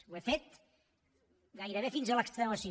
ho he fet gairebé fins a l’extenuació